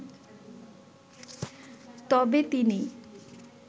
তবে তিনি